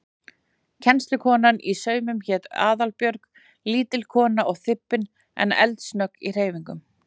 Kennslukonan í saumum hét Aðalbjörg, lítil kona og þybbin en eldsnögg í hreyfingum.